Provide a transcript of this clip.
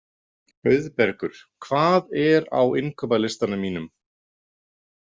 Auðbergur, hvað er á innkaupalistanum mínum?